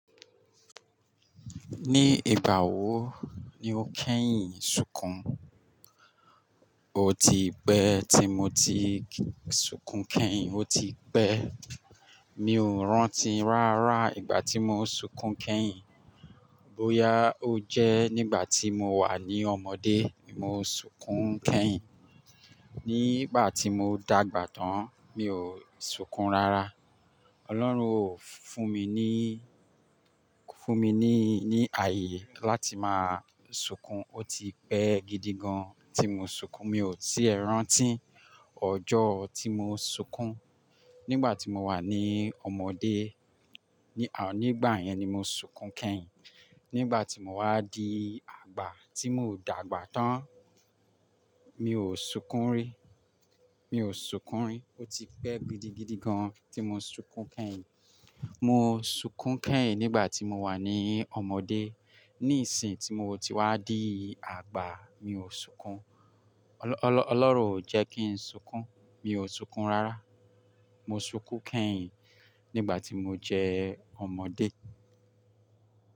Ní ìgbà wo ni o kẹ́yìn sunkùn? O ti pẹ́ tí mo ti sunkùn kẹ́yìn, ó ti pẹ́. Mi ò rántí rárá ìgbà tí mo sunkùn kẹ́yìn. Bóyá ó jẹ́ nígbà tí mo wà ní ọmọdé, mo sunkùn kẹ́yìn. Nígbà tí mo dàgbà tán mi ò sunkùn rárá. Ọlọ́run ò fún mi ní, fún mi ní, ní ààyè láti máa sunkùn. Ó ti pẹ́ gidi gan tí mo sunkùn. Mi ò tíì rántí ọjọ́ tí mo sunkùn. Nígbà tí mo wà ní ọmọdé, nígbà yẹn ni mo sunkùn kẹ́yìn. Nígbà tí mo wá di àgbà, tí mò dàgbà tán, mi ò sunkùn rí, mi ò sunkùn rí. Ó ti pẹ́ gidigidi gan tí mo sunkùn kẹ́yìn. Mo sunkùn kẹ́yìn nígbà tí mo wà ní ọmọdé. Nísìínyi tí mo ti wá di àgbà, mi ò sunkùn. Ọlọ́run ò jẹ́ kí n sunkùn. Mi ò sunkùn rárá. Mo sunkùn kẹ́yìn nígbà tí mo jẹ́ ọmọdé.